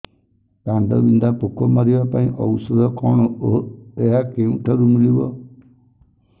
କାଣ୍ଡବିନ୍ଧା ପୋକ ମାରିବା ପାଇଁ ଔଷଧ କଣ ଓ ଏହା କେଉଁଠାରୁ ମିଳିବ